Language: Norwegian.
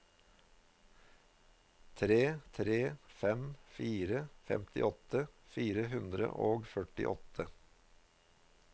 tre tre fem fire femtiåtte fire hundre og førtiåtte